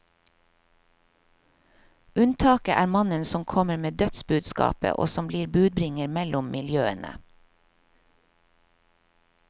Unntaket er mannen som kommer med dødsbudskapet og som blir budbringer mellom miljøene.